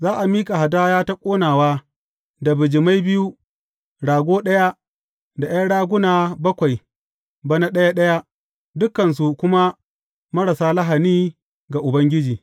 Za a miƙa hadaya ta ƙonawa da bijimai biyu, rago ɗaya, da ’yan raguna bakwai, bana ɗaya ɗaya; dukansu kuma marasa lahani ga Ubangiji.